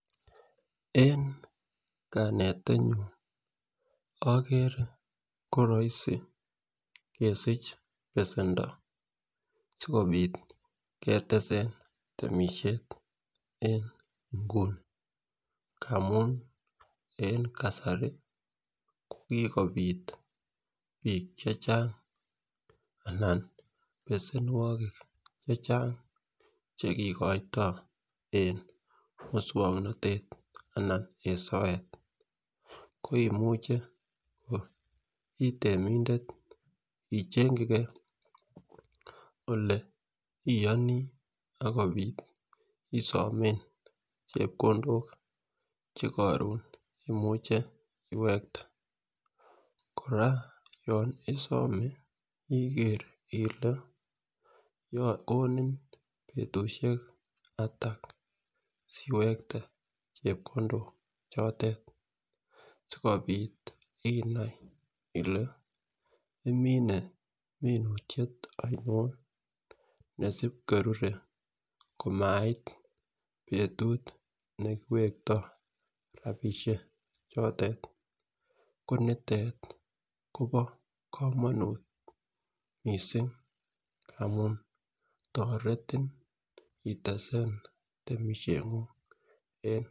En kanetenyun okere ko roisi kesich besendo sikopit kotesen boishet en inguni amun en kasari ko kokopit bik chechang anan besenuokik chechang chekikoito en muswoknotetab kasari anan en sobet ko imuche ko iteminde ichengigee ole oyonii akopit isome chepkondok che korun imuche iwekte. Koraa yon isome ikee ile komin betushek atak siwekte chepkondok chote sikopit inai ile imine minutyet ainon nesin korure komait betut nekiwekto rabishek chotet konitet Kobo komonut missing ngamun toreti itesen temishengung en.